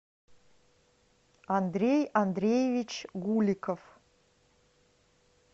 андрей андреевич гуликов